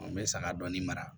N bɛ saga dɔɔni mara